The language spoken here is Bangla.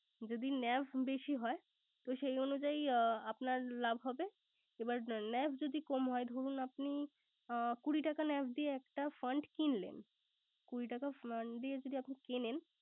যদি NAV বেশি হয় তো সেই অনুযায়ী আপনার লাভ হবে। এবার NAV যদি কম হয়। ধরুন আপনি কুড়ি টাকা NAV দিয়ে একটা fund কিনলেন। কুড়ি টাকা fund দিয়ে যদি কিনেন